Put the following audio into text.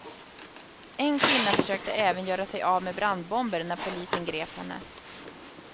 En kvinna försökte även göra sig av med brandbomber när polisen grep henne.